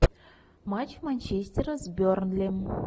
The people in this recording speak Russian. матч манчестера с бернли